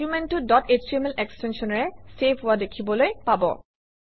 ডকুমেণ্টটো dot HTML এক্সটেনশ্যনেৰে save হোৱা দেখিবলৈ পাব